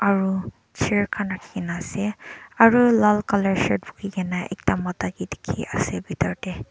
aro chair khan rakhikena ase aro lal colour shirt bukhikena ekta mota ke dekhi ase bethor te.